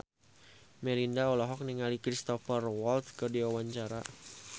Melinda olohok ningali Cristhoper Waltz keur diwawancara